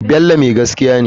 Bello mai gaskiya ne.